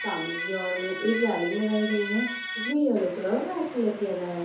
सामने के ओर में दो रेलिंग लगाई हुई है जिसमे येल्लो कलर और व्हाइट कलर किया गया है।